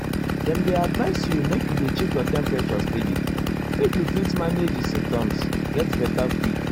dem dey advise you make you dey check your temperature steady make you fit manage di symptoms get beta quick.